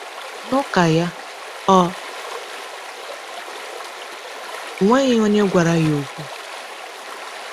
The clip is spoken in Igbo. N’ụka ya, ọ nweghị onye gwara ya okwu.